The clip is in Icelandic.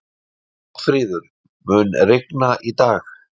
Oddfríður, mun rigna í dag?